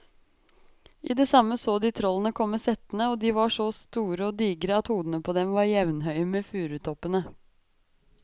I det samme så de trollene komme settende, og de var så store og digre at hodene på dem var jevnhøye med furutoppene.